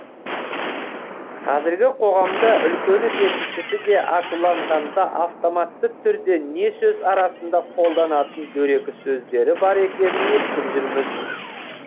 қазіргі қоғамда үлкені де кішісі де ашуланғанда автоматты түрде не сөз арасында қолданатын дөрекі сөздері бар екенін естіп жүрміз